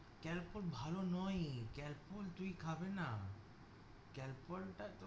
কালপল ভালো নয়ই, কালপল তুই খাবেনা। কালপল টা